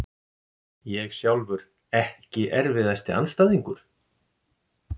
Ég sjálfur Ekki erfiðasti andstæðingur?